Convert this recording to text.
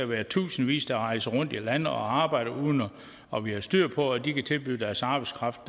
være i tusindvis der rejser rundt i landet og arbejder uden at vi har styr på det de kan tilbyde deres arbejdskraft